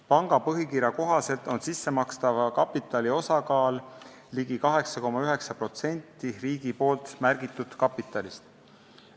Panga põhikirja kohaselt on sissemakstava kapitali osakaal ligi 8,9% riigi märgitud kapitalist.